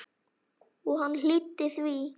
Og hann hlýddi því.